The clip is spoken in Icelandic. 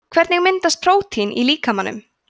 hvernig myndast prótín í líkamanum